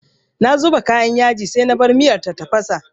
Na zuba kayan yaji sai na bar miyar ta tafasa.